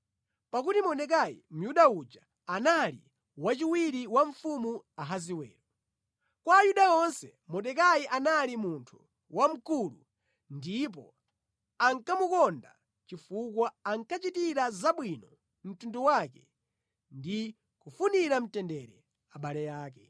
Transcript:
Pakuti Mordekai Myuda uja anali wachiwiri wa mfumu Ahasiwero. Kwa Ayuda onse Mordekai anali munthu wamkulu ndipo ankamukonda chifukwa ankachitira zabwino mtundu wake ndi kufunira mtendere abale ake.